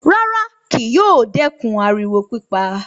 Rárá, kì yóò dẹ́kun ariwo pípa